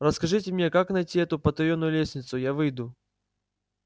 расскажите мне как найти эту потаённую лестницу я выйду